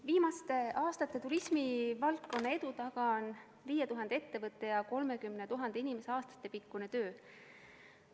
Viimaste aastate turismivaldkonna edu taga on 5000 ettevõtte ja 30 000 inimese aastatepikkune töö.